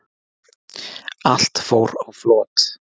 Allt fór á flot